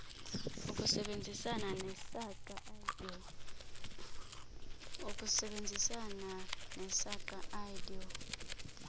ukusebenzisana nesaqa idoe